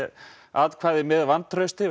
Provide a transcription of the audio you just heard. með vantrausti